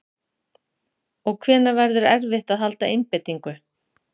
Og hvenær verður erfitt að halda einbeitingu?